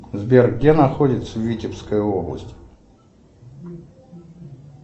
сбер где находится витебская область